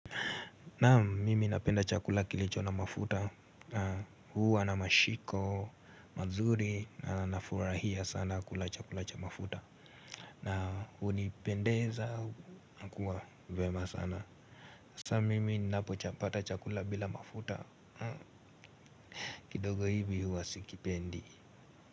Naam mimi napenda chakula kilicho na mafuta. Na huwa namashiko, mazuri. Na nafurahia sana kula chakula cha mafuta. Na unipendeza, nakuwa vyema sana. Sa mimi napopata chakula bila mafuta kidogo hivi huwa sikipendi.